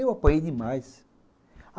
Eu apanhei demais.